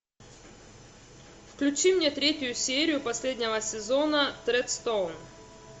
включи мне третью серию последнего сезона тредстоун